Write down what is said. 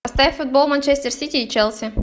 поставь футбол манчестер сити и челси